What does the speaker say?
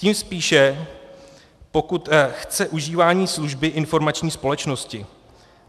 Tím spíše, pokud chce užívání služby informační společnosti.